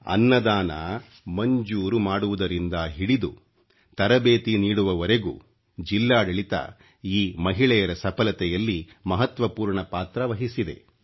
ಅನ್ಮದಾನ ಮಂಜೂರು ಮಾಡುವುದರಿಂದ ಹಿಡಿದು ತರಬೇತಿ ನೀಡುವವರೆಗೂ ಜಿಲ್ಲಾಡಳಿತ ಈ ಮಹಿಳೆಯರ ಸಫಲತೆಯಲ್ಲಿ ಮಹತ್ವ ಪೂರ್ಣ ಪಾತ್ರ ನಿರ್ವಹಿಸಿದೆ